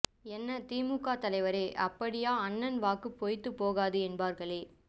என்ன திமுக தலைவரே அப்படியா அண்ணன் வாக்கு பொய்த்து போகாது என்பார்களே